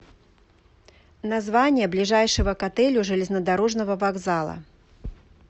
название ближайшего к отелю железнодорожного вокзала